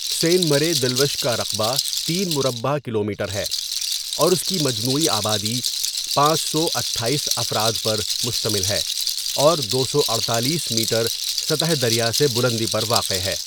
سین مرے دٖلوش کا رقبہ ۳ مربع کیلومیٹر ہے اور اس کی مجموعی آبادی ۵۶۸ افراد پر مشتمل ہے اور ۲۴۸ میٹر سطح دریا سے بلندی پر واقع ہے.